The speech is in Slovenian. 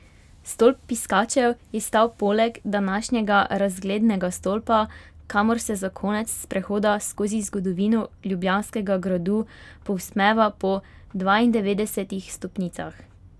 Stolp piskačev je stal poleg današnjega razglednega stolpa, kamor se za konec sprehoda skozi zgodovino Ljubljanskega gradu povzpneva po dvaindevetdesetih stopnicah.